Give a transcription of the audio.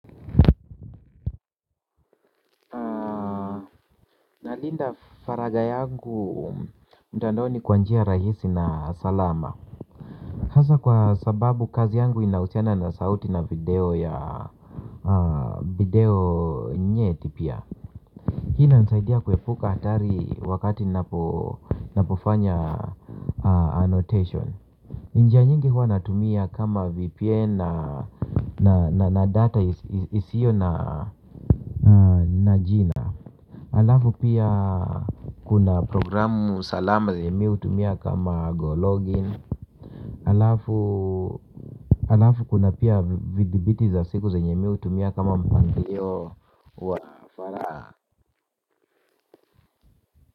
Nalinda faragha yangu mtandoni kwa njia rahisi na salama. Hasa kwa sababu kazi yangu inahusiana na sauti na video ya video nyeti pia. Hii inanisaidia kuepuka hatari wakati ninapofanya annotation. Njia nyingi huwa natumia kama VPN na data isio na jina. Huku pia kuna programu salama yenye mimi hutumia kama go login. Alafu kuna pia vidhibiti za siku zenye mimi hutumia kama mpangilio wa.